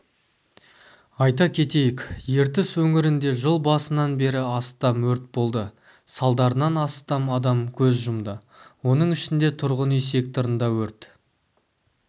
айта кетейік ертіс өңірінде жыл басынан бері астам өрт болды салдарынан астам адам көз жұмды оның ішінде тұрғын үй секторында өрт